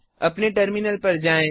अपने टर्मिनल पर जाएँ